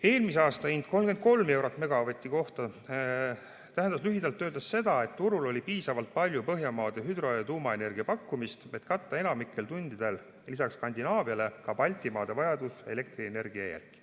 Eelmise aasta hind, 33 eurot megavati eest, tähendas lühidalt öeldes seda, et turul oli piisavalt palju Põhjamaade hüdro‑ ja tuumaenergiapakkumist, et katta enamikul tundidel lisaks Skandinaaviale ka Baltimaade vajadus elektrienergia järele.